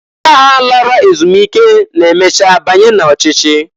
Ndi agha lara ezumike na-emecha banye n'ochichi.